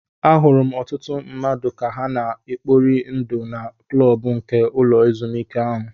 Ahụrụ m ọtụtụ mmadụ ka ha na-ekpori ndụ na klọb nke ụlọ ezụmike ahụ.